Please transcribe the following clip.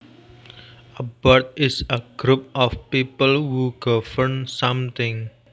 A board is a group of people who govern something